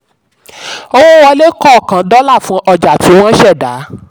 owó wọlé kọọkan dọ́là fun ọjà tí wọ́n ṣẹ̀dá.